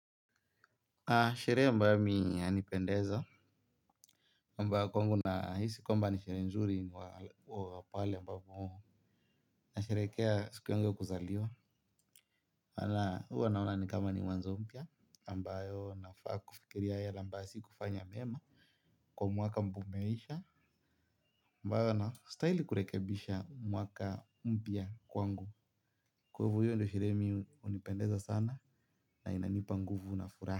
Sherehe ambayo mi inanipendeza, ambayo kwa wangu na hisi kwamba ni sherehe nzuri ni wapale ambayo na sherehskea siku yangu ya kuzaliwa, huwanaona ni kama ni mwanzo mpya ambayo nafaa kufikiri yale amba si kufanya mema, kwa mwaka mbomeisha, ambayo na stahili kurekebisha mwaka mpya kwa wangu, kwahivo hio ndio sherehe mimi inanipendeza sana na inanipa nguvu na furahi.